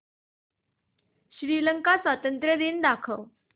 श्रीलंका स्वातंत्र्य दिन दाखव